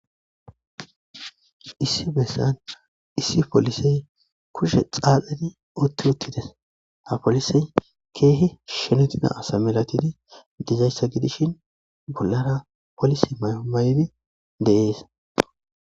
issi bessan issi polisey kushe xaaladi utti uttides ha polisey keehe shenutida asa milatidi dizayssa gidishin bollara polis maymaydi deees